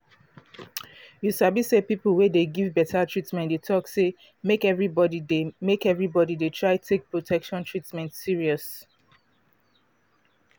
you sabi say people wey dey give beta treatment dey talk say make everybody dey make everybody dey try take protection treatment serious